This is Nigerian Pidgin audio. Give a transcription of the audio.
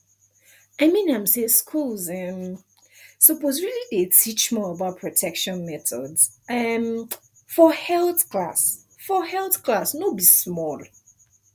i mean am say schools um suppose really dey teach more about protection methods um for health class for health class no be small